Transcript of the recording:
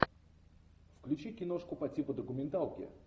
включи киношку по типу документалки